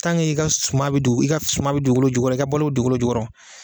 Tange i ga suman be dugukolo jukɔrɔ i ka balo be dugukolo jukɔrɔ